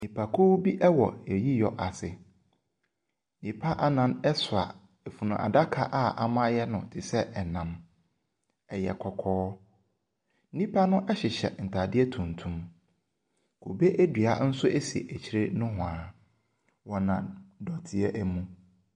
Nnipakuo bi wɔ ayiyɔ ase. Nnipa nnan soa adaka a wɔayɛ no te sɛ ɛnam, ɛyɛ kɔkɔɔ. Nnipa no hyehyɛ ntaadeɛ tuntum. Kube dua nso si aykire ne ho a. Wɔnam dɔteɛ mu.